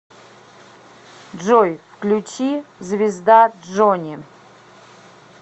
джой включи звезда джони